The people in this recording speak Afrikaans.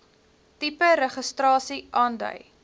tipe registrasie aandui